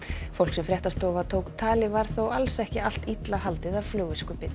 fólk sem fréttastofa tók tali var þó alls ekki allt illa haldið af